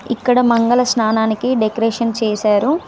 ఇక్కడ మంగళ స్నానానికి డెకరేషన్ చేశారు.